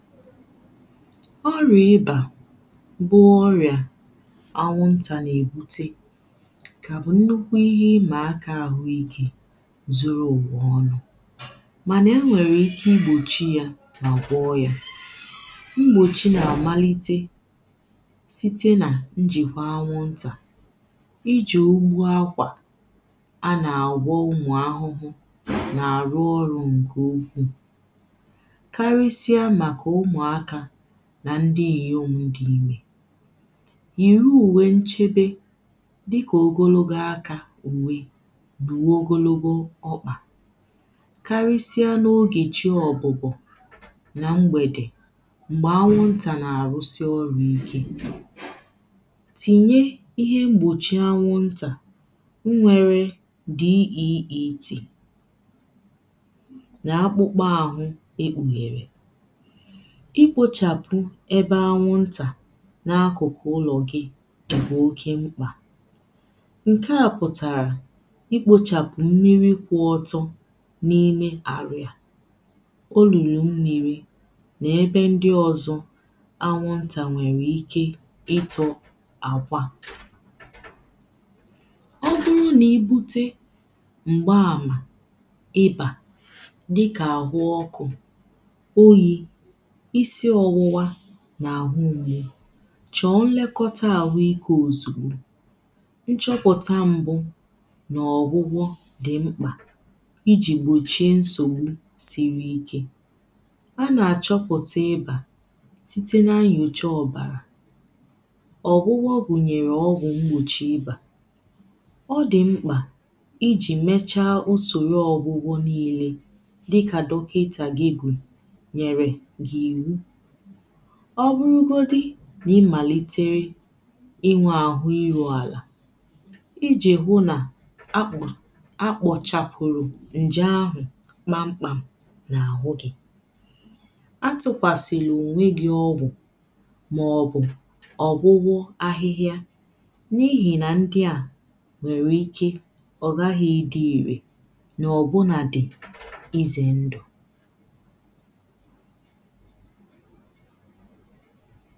ọrịa ịbā bụ ọrịa anwụntā na-ebutē ka bụ nnukwu ihe imaaka ahụike zuru ụwa ọnụ̀ mana enwere ike igbochi yà na gwọ yà mgbochi na amalite sitē na njikwa anwụntā iji ogbu akwa a na-agwọ ụmụahụhụ na-arụ ọrụ nke ukwuù karisie maka ụmụakā na ndị nyiom dị imē yiri uwe nchebe dịka ogologo akā uwē na uwē ogologo ọkpa karisie na oge chi ọbụbọ̀ na mgbedè mgbe anwụnta na-arụsị ọrụ ike tinye ihe mgbochi anwụntà nyere DEET na akpụkpa ahụ̄ e kpughere ikpochapū ebe anwụntā na akụkụ ụlọ gị̄ dịkwa oke mkpā nke a pụtarā ikpochapu mmiri kwụọtọ̄ na ime arụ yā olulu mmiri na ebe ndị ọzọ̄ anwụntā nwere ike ịtọ akwà adịghịnị ibute mgbe amā ịbā dịkā ahụ ọkụ̄ oyī isi ọwụwā na ahụ mgbū chọ nlekota ahụike ozugbo nchọpụta mbụ̄ na ọgwụgwọ̄ dịmkpā iji gbochie nsogbu siri ike a na-achọpụta ịbā sitē na-nyocha ọbarà ọgwụgwọ gunyere ọgwụ mgbochi ịbā ọ dịmkpà iji mecha usoro ọgwụgwọ niilē dịka dọkịtā gị kwū nyerē gị iwu ọbụrụgodi n' imalitere inwe ahụ irualà iji hụ na akpụrụ̄ akpọchapụrụ̄ nje ahụ̄ kpamkpam na ahụ gị̄ atụkwasịlị onwe gi ọgwụ maọbụ̄ ọgwụgwu ahịhịā na ihi ndị à nwere ike ọ gaghị ịdị irē na ọbụnadị̄ ize ndụ̄